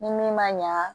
Ni min ma ɲa